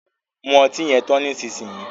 Mú ọtí yen tán nísìsiyìí!